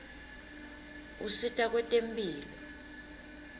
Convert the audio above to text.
usita kwetemphilo